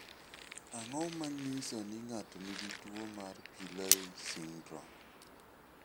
Ang�o ma nyiso ni ng�ato nigi tuo mar Pillay syndrome?